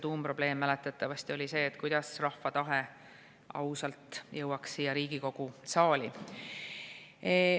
Tuumprobleem mäletatavasti oli see, kuidas rahva tahe ausalt jõuaks siia Riigikogu saali.